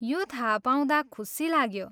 यो थाहा पाउँदा खुसी लाग्यो ।